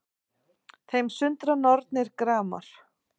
Þeim sundra nornir gramar